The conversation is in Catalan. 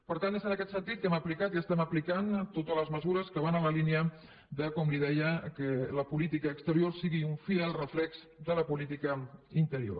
per tant és en aquest sentit que hem aplicat i les estem aplicant totes les mesures que van en la línia com li deia que la política exterior sigui un fidel reflex de la política interior